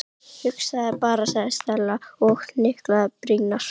Hugsaðu þér bara- sagði Stella og hnyklaði brýnnar.